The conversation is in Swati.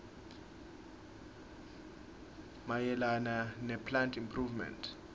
mayelana neplant improvement